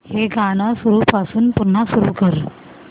हे गाणं सुरूपासून पुन्हा सुरू कर